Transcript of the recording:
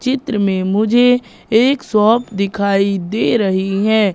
चित्र में मुझे एक शॉप दिखाई दे रही हैं।